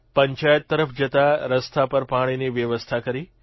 પંચાયત તરફ જતાં રસ્તા પર પાણીની વ્યવસ્થા કરી